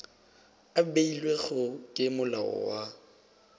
a beilwego ke molao wa